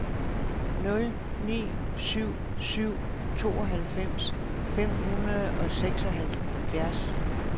nul ni syv syv tooghalvfems fem hundrede og seksoghalvfjerds